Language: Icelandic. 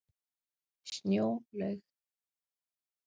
Snjólaug